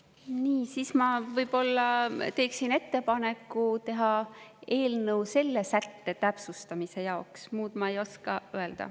Nii, siis ma võib-olla teeksin ettepaneku teha eelnõu selle sätte täpsustamise jaoks, muud ma ei oska öelda.